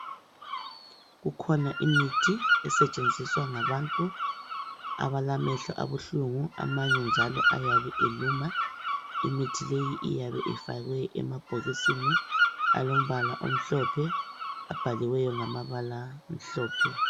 Kukhona imithi esetsheniswa ngabantu abalamehlo abuhlungu amanye njalo ayabe eluma. Imithi leyi iyabe ifakiwe emabhokisini alombala omhlophe ababhaliweyo ngamabala amhlophe.